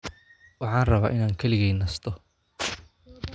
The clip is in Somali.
Waxaan rabaa inaan keligay nasto